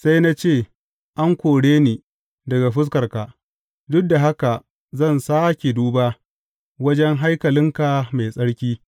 Sai na ce, An kore ni daga fuskarka; duk da haka zan sāke duba wajen haikalinka mai tsarki.’